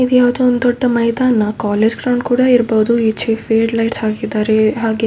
ಇದು ಯಾವುದೋ ಒಂದು ದೊಡ್ಡ ಮೈದಾನ ಕಾಲೇಜ್‌ ಗ್ರೌಂಡ್ ಕೂಡ ಇರ್ಬೋದು. ಈಚೆ ಫೇಡ್‌ ಲೈಟ್ಸ್‌ ಹಾಕಿದ್ದಾರೆ. ಹಾಗೆ --